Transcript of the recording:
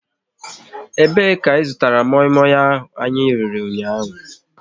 E be ka ị zụtara moi moi anyị riri ụnyaahụ?